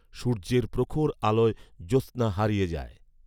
সূর্যের প্রখর আলোয় জ্যোৎছনা হারিয়ে যায়